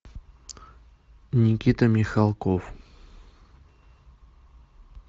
никита михалков